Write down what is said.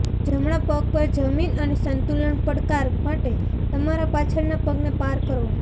જમણા પગ પર જમીન અને સંતુલન પડકાર માટે તમારા પાછળના પગને પાર કરો